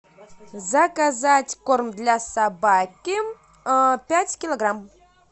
заказать корм для собаки пять килограмм